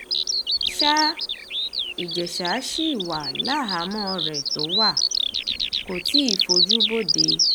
ṣàìjẹsà ṣì wà láhàámọ̀ rẹ̀ tó wà kò tí ì fojú bodè